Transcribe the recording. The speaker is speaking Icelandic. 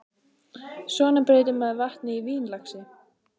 Svona breytir maður vatni í vín, lagsi.